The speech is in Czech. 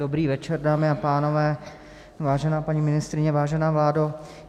Dobrý večer, dámy a pánové, vážená paní ministryně, vážená vládo.